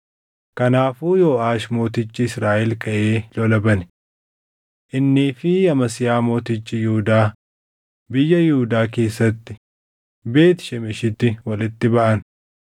Kanaafuu Yooʼaash mootichi Israaʼel kaʼee lola bane. Innii fi Amasiyaa mootichi Yihuudaa biyya Yihuudaa keessatti Beet Shemeshitti walitti baʼan.